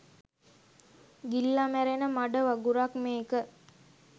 ගිලිල මැරෙන මඩ වගුරක් මේක.